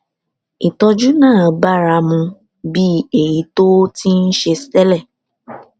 ìtójú náà bára mu bí èyí tó o ti ń ṣe télè